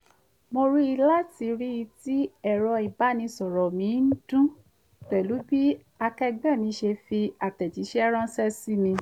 mo jí láti ríi tí ẹ̀rọ ìbánisọ̀rọ̀ mi ń dún pẹ̀lú bí akẹẹgbẹ́ mi ṣe fi àtẹ̀jíṣẹ́ ránṣẹ́ sí mi